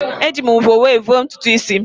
Eji m mvọ were vọọ ntutu isi m.